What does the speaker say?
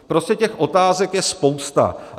Prostě těch otázek je spousta.